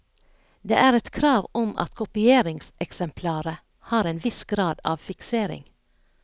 Det er et krav om at kopieringseksemplaret har en viss grad av fiksering.